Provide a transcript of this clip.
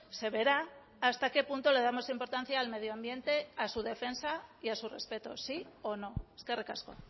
se verá hasta qué punto le damos importancia al medioambiente a su defensa y a su respeto sí o no eskerrik asko